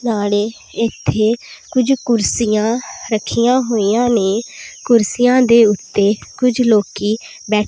ਨਾਲੇ ਇੱਥੇ ਕੁਝ ਕੁਰਸੀਆਂ ਰੱਖੀਆਂ ਹੋਈਆਂ ਨੇਂ ਕੁਰਸੀਆਂ ਦੇ ਉੱਤੇ ਕੁੱਝ ਲੋਕੀ ਬੈ--